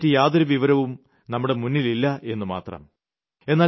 അവരെപ്പറ്റി യാതൊരു വിവരവും നമ്മുടെ മുന്നിലില്ലായെന്ന് മാത്രം